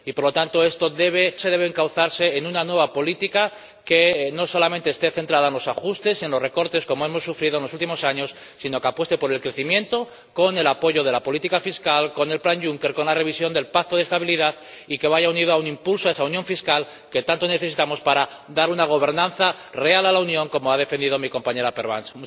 Por lo tanto, esto debe encauzarse en una nueva política que no solamente esté centrada en los ajustes en los recortes, como hemos sufrido en los últimos años sino que apueste por el crecimiento con el apoyo de la política fiscal, con el plan Juncker, con la revisión del Pacto de Estabilidad y que vaya unido a un impulso a esa unión fiscal que tanto necesitamos para dar una gobernanza real a la Unión como ha defendido mi compañera Pervenche.